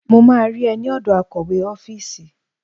Mo máa rí ẹ ní ọ̀dọ̀ akọ̀wé ọ́fíìsì.